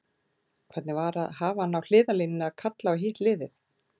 Hvernig var að hafa hann á hliðarlínunni að kalla á hitt liðið?